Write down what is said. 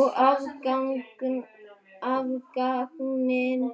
Og afganginn